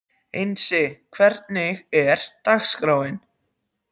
Einsi, hvernig er dagskráin?